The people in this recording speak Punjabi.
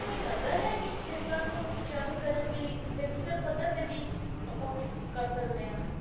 ਇਹ ਲੱਗਦਾ ਹੈ ਕੀ ਸਥਿਰਤਾ ਨੂੰ ਉਤਸ਼ਾਹਿਤ ਕਰਨ ਲਈ ਵਿਅਕਤੀਗਤ ਪੱਧਰ ਤੇ ਵੀ ਆਪਾਂ ਕੁਛ ਕਰ ਸਕਦੇ ਆਂ